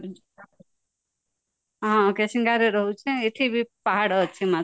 ହଁ କେସିଙ୍ଗା ରେ ରହୁଛି ନା ଏଠିବି ପାହାଡ ଅଛି ମାତ୍ର